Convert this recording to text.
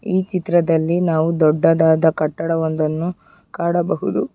ಈ ಚಿತ್ರದಲ್ಲಿ ನಾವು ದೊಡ್ಡದಾದ ಕಟ್ಟಡವೊಂದನ್ನು ಕಾಣಬಹುದು.